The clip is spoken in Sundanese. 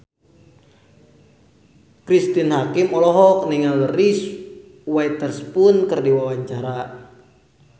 Cristine Hakim olohok ningali Reese Witherspoon keur diwawancara